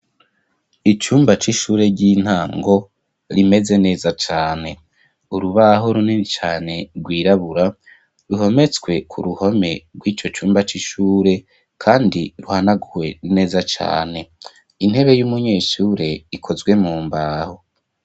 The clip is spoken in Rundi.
Icumba c'ishure ry'intango rimeze neza cane urubaho runini cane rwirabura ruhometswe ku ruhome rw'ico cumba c'ishure kandi ruhanaguwe neza cane intebe y'umunyeshure ikozwe mu mbaho.